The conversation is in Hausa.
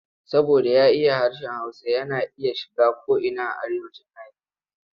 Saboda ya iya harshen Hausa yana iya shiga ko'ina a Arewacin Nijeriya.